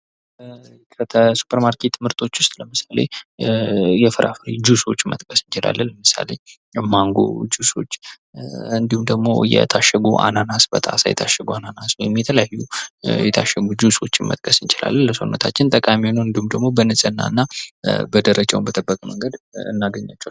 ከሱፐር ማርኬት ምርቶች ውስጥ ለምሳሌ፦ የፍራፍሬ ጁስዎች መጥቀስ እንችላለን። ለምሳሌ፦ ማንጎ ጁስዎች እንዲሁም ደግሞ የታሸጉ አናነስ በጣሳ የታሽጉ አናናስ ወይም የተለያዩ የታሸጉ ጁስዎች መጥቀስ እንችላለን ለሰውነታችን ጠቃሚ የሆነ እንዲሁም ደግሞ በንጽህናና በደረጃውን በጠበቀ መንገድ እናገኛቸዋለን።